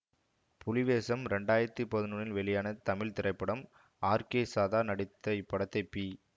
புலிவேசம் இரண்டு ஆயிரத்தி பதினொன்னில் வெளியான தமிழ் திரைப்படம் ஆர் கே சதா நடித்த இப்படத்தை பி